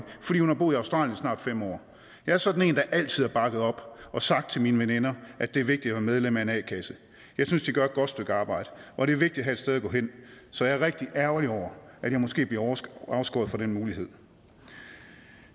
fordi hun har boet i australien i snart fem år jeg er sådan en der altid har bakket op og sagt til mine veninder at det er vigtigt at være medlem af en a kasse jeg synes de gør et godt stykke arbejde og det er vigtigt at have sted at gå hen så jeg er rigtig ærgerlig over at jeg måske bliver afskåret fra den mulighed